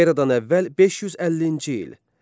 Eradan əvvəl 550-ci il.